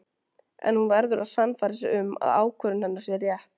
En hún verður að sannfæra sig um að ákvörðun hennar sé rétt.